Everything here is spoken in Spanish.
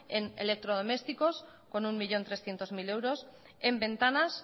en electrodomésticos con un millón trescientos mil euros en ventanas